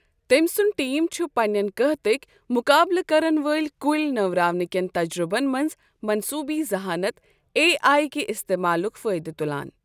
تٔمۍ سُنٛد ٹیم چھ پننین قحتٕكۍ مقابلہٕ كرن وٲلۍ كُلۍ نوراونہٕ كین تجرُبن منز مصنوٗیی ذحانت اے آیہ كہِ استعمالک فٲیدٕ تلان۔